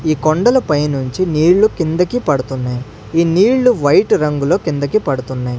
ఈ కొండల పైనుంచి నీళ్ళు కిందకి పడుతున్నాయ్ ఈ నీళ్ళు వైట్ రంగులో కిందకి పడుతున్నాయ్.